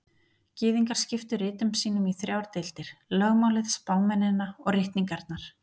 Gyðingar skiptu ritum sínum í þrjár deildir: Lögmálið, spámennina og ritningarnar.